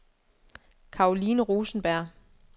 Karoline Rosenberg